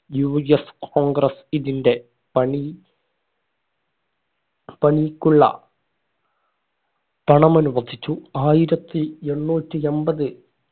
UScongress ഇതിന്റെ പണി പണിക്കുള്ള പണം അനുവദിച്ചു ആയിരത്തി എണ്ണൂറ്റി എമ്പത്